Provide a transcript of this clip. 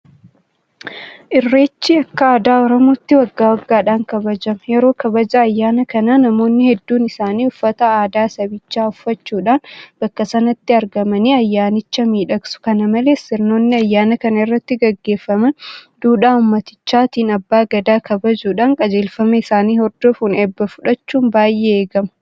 Irreechi akka aadaa oromootti waggaa waggaadhaan kabajama. Yeroo kabaja ayyaana kanaa namoonni hedduun isaanii uffata aadaa sabichaa uffachuudhaan bakka sanatti argamanii ayyaanicha miidhaksu. Kana malees sirnoonni ayyaana kana irratti gaggeeffaman duudhaa uummatichaatiin abbaa gadaa kabajuudhaan qajeelfama isaanii hodofuun eebba fudhachuun baay'ee eegama.